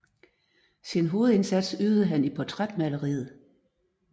Sin hovedindsats ydede han i portrætmaleriet